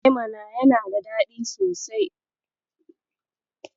E mana, yana da daɗi sosai.